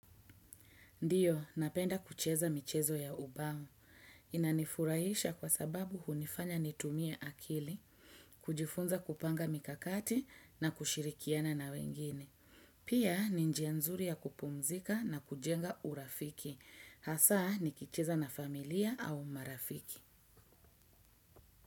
Ndiyo, napenda kucheza michezo ya ubao. Inanifurahisha kwa sababu hunifanya nitumie akili, kujifunza kupanga mikakati na kushirikiana na wengine. Pia, ni njia nzuri ya kupumzika na kujenga urafiki. Hasaa, nikicheza na familia au marafiki.